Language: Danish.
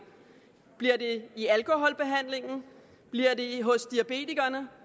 bliver det i alkoholbehandlingen bliver det hos diabetikerne